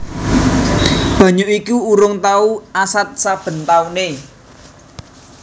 Banyu iku urung tau asat saben taune